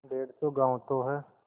डेढ़ सौ गॉँव तो हैं